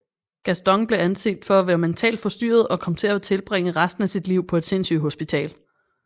Gaston blev anset for at være mentalt forstyrret og kom til at tilbringe resten af sit liv på et sindsygehospital